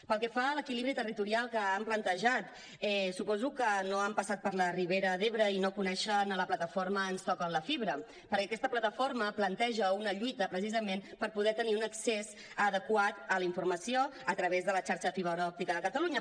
pel que fa a l’equilibri territorial que han plantejat suposo que no han passat per la ribera d’ebre i no coneixen la plataforma ens toquen la fibra perquè aquesta plataforma planteja una lluita precisament per poder tenir un accés adequat a la informació a través de la xarxa de fibra òptica de catalunya